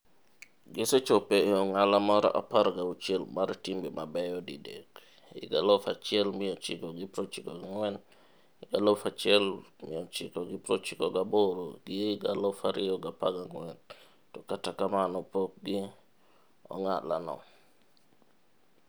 Gisechopo e ong'ala mar 16 mar timbe mabeyo didek - 1994, 1998 gi 2014 - to kata kamano pokgi on'ala no.